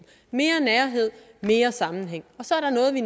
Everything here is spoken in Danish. mere nærhed mere sammenhæng så er der noget vi